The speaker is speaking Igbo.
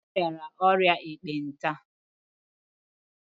O rịara ọrịa ekpenta.